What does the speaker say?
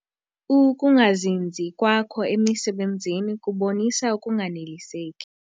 Ukungazinzi kwakho emisebenzini kubonisa ukunganeliseki.